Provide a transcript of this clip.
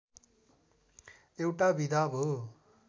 एउटा विधा हो